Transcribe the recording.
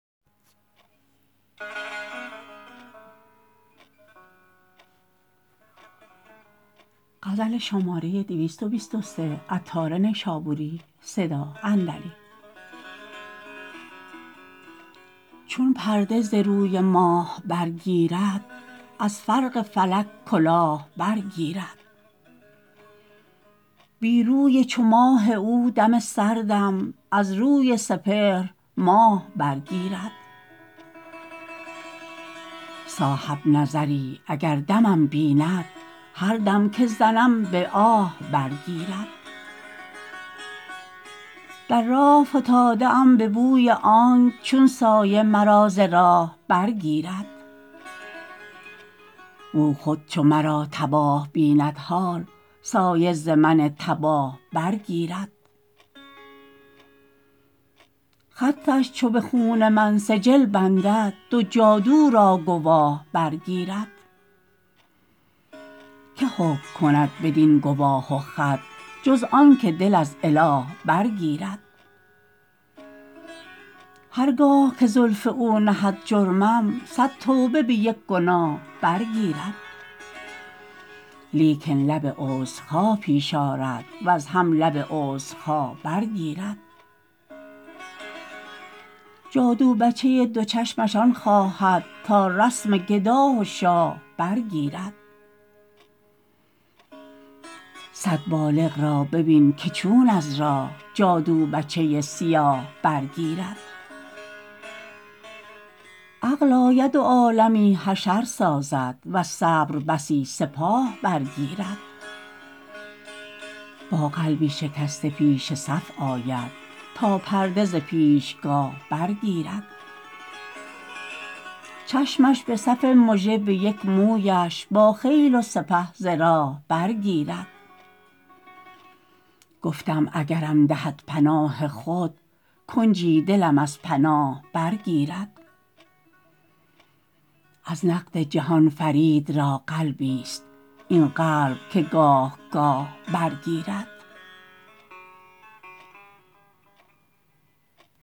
چون پرده ز روی ماه برگیرد از فرق فلک کلاه برگیرد بی روی چو ماه او دم سردم از روی سپهر ماه برگیرد صاحب نظری اگر دمم بیند هر دم که زنم به آه برگیرد در راه فتاده ام به بوی آنک چون سایه مرا ز راه برگیرد و او خود چو مرا تباه بیند حال سایه ز من تباه برگیرد خطش چو به خون من سجل بندد دو جادو را گواه برگیرد که حکم کند بدین گواه و خط جز آنکه دل از اله برگیرد هرگاه که زلف او نهد جرمم صد توبه به یک گناه برگیرد لیکن لب عذرخواه پیش آرد وز هم لب عذرخواه برگیرد جادو بچه دو چشمش آن خواهد تا رسم گدا و شاه برگیرد صد بالغ را ببین که چون از راه جادو بچه سیاه برگیرد عقل آید و عالمی حشر سازد وز صبر بسی سپاه برگیرد با قلب شکسته پیش صف آید تا پرده ز پیشگاه برگیرد چشمش به صف مژه به یک مویش با خیل و سپه ز راه برگیرد گفتم اگرم دهد پناه خود کنجی دلم از پناه برگیرد از نقد جهان فرید را قلبی است این قلب که گاه گاه برگیرد